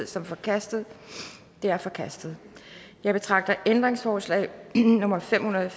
som forkastet det er forkastet jeg betragter ændringsforslag nummer fem hundrede og